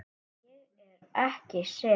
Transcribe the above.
Ég er ekki sek.